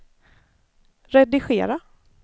redigera